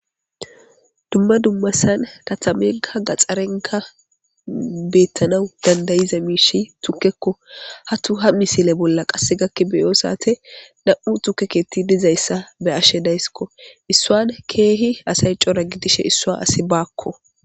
Dumma dummasan tatamenka gaxxarenka beettanau dandayiza miishi tukkekko hatu ha misile bolla qasse gakki beyo saate nam7u tukeketi dizayssa be ashe daysskko issuan keehi asay cora gidishe issua asi baakko.